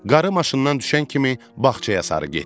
Qarı maşından düşən kimi bağçaya sarı getdi.